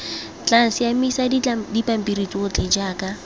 tla siamisa dipampiri tsotlhe jaaka